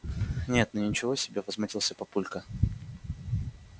нет ну ничего себе возмутился папулька